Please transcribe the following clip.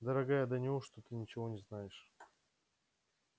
дорогая да неужто ты ничего не знаешь